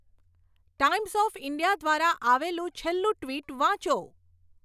times of India દ્વારા આવેલું છેલ્લું ટ્વિટ વાંચો